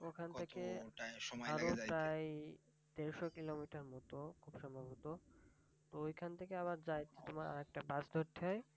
দেড়শো কিলোমিটারের মত খুব সম্ভবত। তো ঐখান থেকে আবার যাইতে তোমার আর একটা বাস ধরতে হয়।